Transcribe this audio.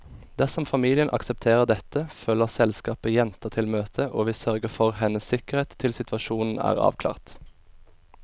Dersom familien aksepterer dette, følger selskapet jenta til møtet, og vi sørger for hennes sikkerhet til situasjonen er avklart.